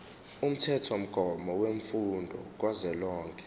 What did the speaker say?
umthethomgomo wemfundo kazwelonke